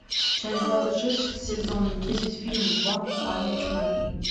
часть двадцать шесть сезон десять фильм ванпанчмен